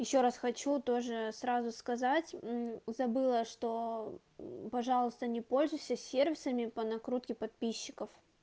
ещё раз хочу тоже сразу сказать мм забыла что пожалуйста не пользуйся сервисами по накрутке подписчиков